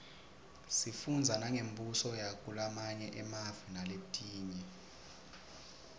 sifundza nangembuso yakulamanye emave naletinye